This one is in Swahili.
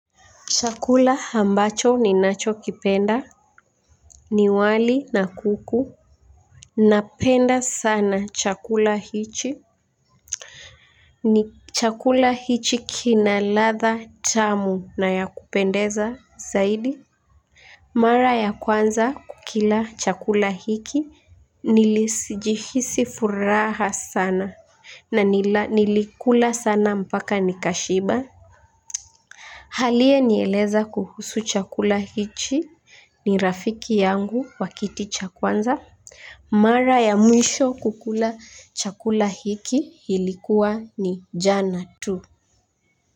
Chakula ambacho ninacho kipenda ni wali na kuku. Napenda sana chakula hichi. Ni chakula hichi kina ladha tamu na ya kupendeza zaidi. Mara ya kwanza kukila chakula hiki nilijihisi furaha sana. Na nilikula sana mpaka nikashiba aliyenieleza kuhusu chakula hichi ni rafiki yangu wakiti cha kwanza. Mara ya mwisho kukula chakula hiki ilikuwa ni jana tu.